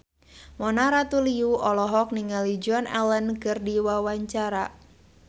Mona Ratuliu olohok ningali Joan Allen keur diwawancara